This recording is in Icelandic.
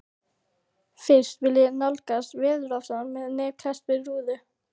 Fyrst vil ég nálgast veðurofsann með nef klesst við rúðu.